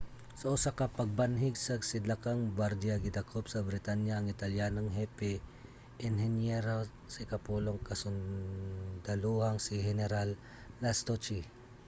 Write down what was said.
sa usa ka pagbanhig sa sidlakang bardia gidakop sa britanya ang italyanong hepe-enhinyero sa ikapulong kasundalohang si general lastucci